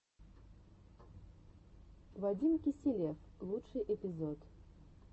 вадим киселев лучший эпизод